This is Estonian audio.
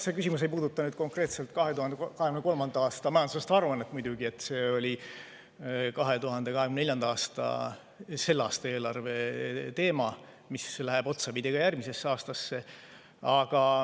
See küsimus ei puuduta muidugi konkreetselt 2023. aasta majandusaasta aruannet, see on 2024. aasta, selle aasta eelarve teema, mis läheb otsapidi ka järgmisesse aastasse.